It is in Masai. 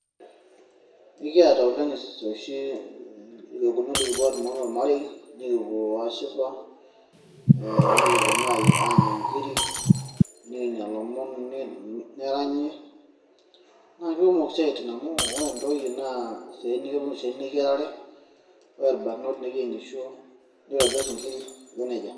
ekiata oleng ooshi irkekunot likipuo aaduaa anaa ormarei, nikipuo aashipa, nikipuo naa aanya nkiri, nikinyia lomon, neranyi, naa kikumok isiaitin amu, ore ntoyie naa kepuo isiaitin eyiarare, ore irbanot neyiengisho neitobir inkiri aiko nejia.